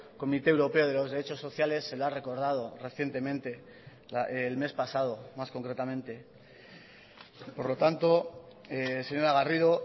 comité europeo de los derechos sociales se lo ha recordado recientemente el mes pasado más concretamente por lo tanto señora garrido